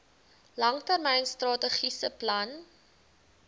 langtermyn strategiese plan